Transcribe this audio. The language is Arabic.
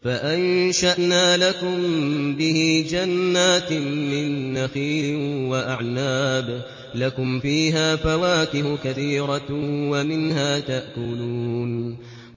فَأَنشَأْنَا لَكُم بِهِ جَنَّاتٍ مِّن نَّخِيلٍ وَأَعْنَابٍ لَّكُمْ فِيهَا فَوَاكِهُ كَثِيرَةٌ وَمِنْهَا تَأْكُلُونَ